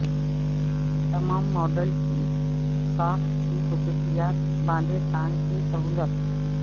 تمام ماڈل کی ساخت کی خصوصیات باندھے ٹانگ کی سہولت